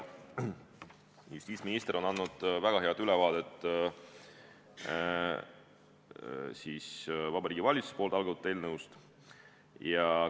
Justiitsminister on andnud väga hea ülevaate Vabariigi Valitsuse algatatud eelnõust.